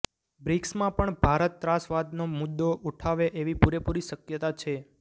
બ્રિક્સમાં પણ ભારત ત્રાસવાદનો મુદ્દો ઉઠાવે એવી પૂરેપૂરી શક્યતા છે